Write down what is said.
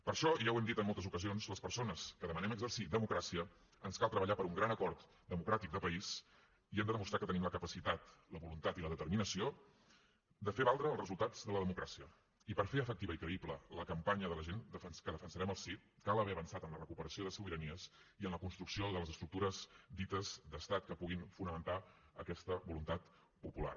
per això i ja ho hem dit en moltes ocasions a les persones que demanem exercir democràcia ens cal treballar per un gran acord democràtic de país i hem de demostrar que tenim la capacitat la voluntat i la determinació de fer valdre els resultats de la democràcia i per fer efectiva i creïble la campanya de la gent que defensarem el sí cal haver avançat en la recuperació de sobiranies i en la construcció de les estructures dites d’estat que puguin fonamentar aquesta voluntat popular